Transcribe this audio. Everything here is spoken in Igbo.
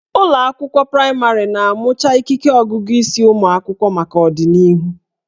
Ụlọ akwụkwọ praịmarị na-amụcha ikike ọgụgụ isi ụmụ akwụkwọ maka ọdịnihu